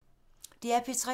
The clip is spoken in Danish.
DR P3